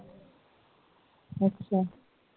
ਅੱਛਾ